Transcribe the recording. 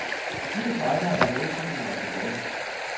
De designere, der er med i filmen, er tilfredse.